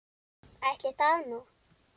Ætli það nú.